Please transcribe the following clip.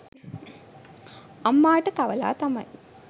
අම්මාට කවලා තමයි